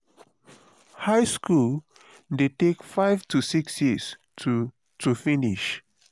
high school de take five to six years to to finish